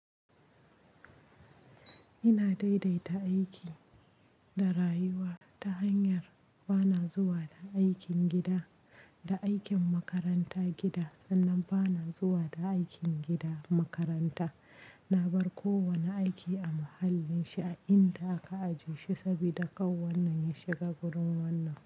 Ina daidaita aiki da rayuwa ta hanyar ba na zuwa da aikin gida da aikin makaranta gida sannan ba na zuwa da aikin gida makaranta. Na bar kowane aiki a mahallin shi a inda aka ajiye shi saboda kar wannan ya shiga wurin wannan.